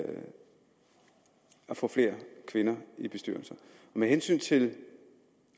få flere kvinder i bestyrelser med hensyn til